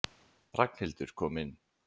Ragnhildur kom inn.